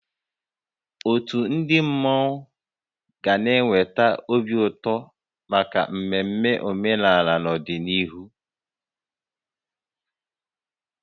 Otu ndị mmọnwu ga na-eweta obi ụtọ maka mmemme omenala n'ọdịnihu